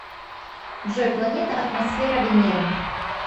джой планета атмосфера венеры